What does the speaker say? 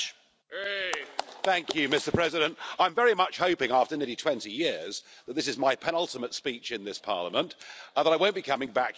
Mr President, I'm very much hoping after nearly 20 years that this is my penultimate speech in this Parliament, and that I won't be coming back here again in July.